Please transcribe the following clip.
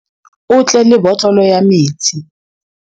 O tle le botlolo ya metsi.